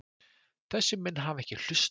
Þessir menn hafa ekki hlustað.